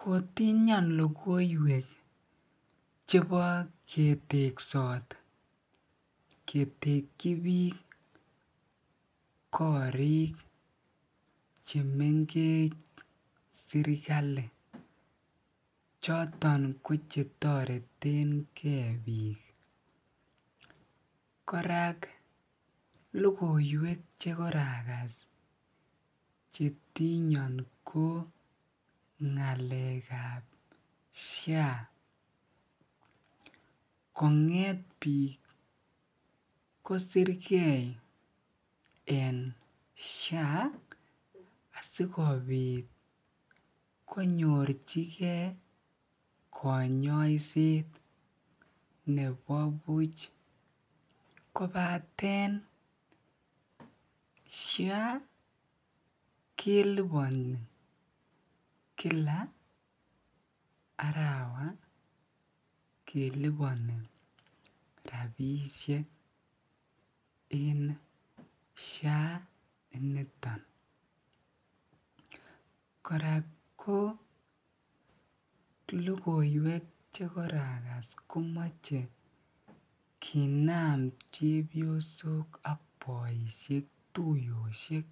Kotinyon lokoiwek chebo keteksot ketekyi biik korik chemengech serikali choton ko chetoretenge biik, korak lokoiwek chekorakas chetinyon ko ngalekab SHA konget biik kosike en SHA asikobit konyorchike konyoiset nebo buch kobaten SHA keliboni kila arawa keliboni rabishek en SHA initon. kora ko lokoiwek chekorakas komoche kinaam chebiosok ak boishek tuyoshek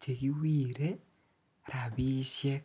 chekiwire rabishek.